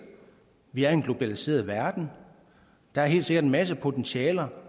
vi lever i en globaliseret verden der er helt sikkert en masse potentialer